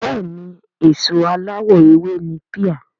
Bẹ́ẹ̀ni èso aláwọ̀ ewé ni píà